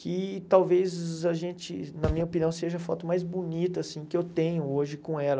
que talvez a gente, na minha opinião, seja a foto mais bonita, assim, que eu tenho hoje com ela.